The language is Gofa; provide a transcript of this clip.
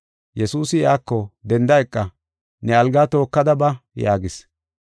Yesuusi iyako, “Denda eqa; ne algaa tookada ba” yaagis.